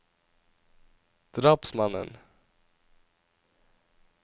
drapsmannen